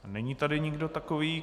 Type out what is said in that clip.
Není tady nikdo takový.